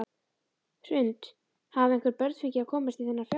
Hrund: Hafa einhver börn fengið að komast í þennan fjársjóð?